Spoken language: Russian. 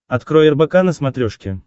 открой рбк на смотрешке